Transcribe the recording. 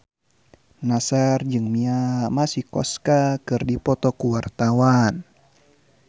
Nassar jeung Mia Masikowska keur dipoto ku wartawan